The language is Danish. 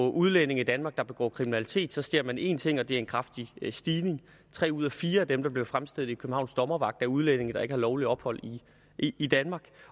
af udlændinge i danmark der begår kriminalitet så ser man en ting og det er en kraftig stigning tre ud af fire af dem der bliver fremstillet i københavns dommervagt er udlændinge der ikke har lovligt ophold i danmark